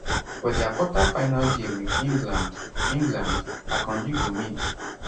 for dia quarterfinal game wit england england akanji go meet